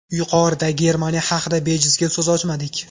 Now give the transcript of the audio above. Yuqorida Germaniya haqida bejizga so‘z ochmadik.